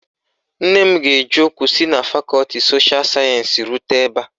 Nne m ga-eji ụkwụ si na fakọti sosha sayensi rute ebe a.